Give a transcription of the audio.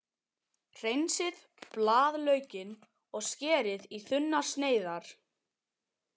Hreinsið blaðlaukinn og skerið í þunnar sneiðar.